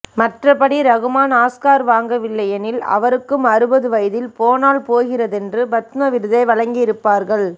மற்றபடி ரகுமான் ஆஸ்கார் வாங்கவில்லைஎனில் அவருக்கும் அறுபது வயதில் போனால் போகிறதென்று பத்ம விருதை வழங்கியிருப்பார்கள்